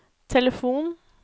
telefon